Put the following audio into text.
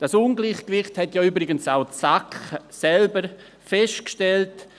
Dieses Ungleichgewicht hat ja übrigens auch die SAK selber festgestellt: